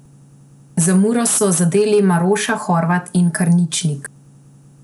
Za Muro so zadeli Maroša, Horvat in Karničnik.